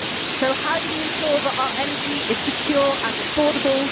So how do we ensure that our energy is secure and affordable?